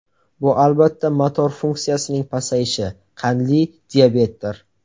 Bu albatta, motor funksiyasining pasayishi, qandli diabetdir.